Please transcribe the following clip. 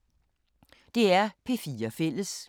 DR P4 Fælles